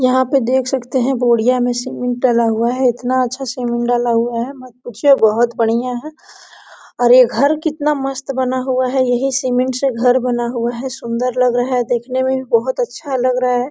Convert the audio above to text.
यहाँ पर देख सकते है बोड़िया में सीमेंट डाला हुआ है इतना अच्छा से सीमेंट डाला हुआ है मत पूछिए बहुत बढ़िया है और ये घर कितना मस्त बना हुआ है यहाँ सीमेंट से घर बना हुआ सुन्दर लग रहा है देखने में भी बहुत अच्छा लग रहा है।